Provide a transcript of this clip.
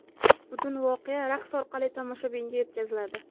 Butun voqea raqs orqali tomoshabinga yetkaziladi.